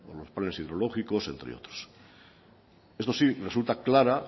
los planes hidrológicos entre otros esto sí resulta clara